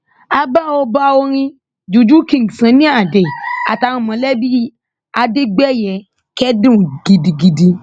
a bá ọba orin juju king sunny ade àtàwọn mọlẹbí adégbèyẹ kẹdùn gidigidi